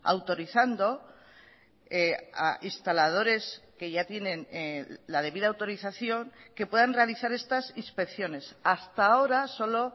autorizando a instaladores que ya tienen la debida autorización que puedan realizar estas inspecciones hasta ahora solo